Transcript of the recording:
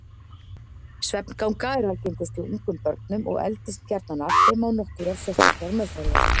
Svefnganga er algengust hjá ungum börnum og eldist gjarnan af þeim án nokkurrar sérstakrar meðferðar.